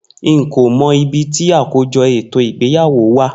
Nko mo ibi ti akojo eto igbeyawo wa.